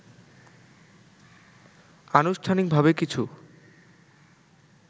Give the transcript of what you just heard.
আনুষ্ঠানিকভাবে কিছু